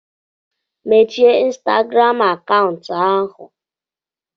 Mechie ịnstagram akaụntụ ahụ.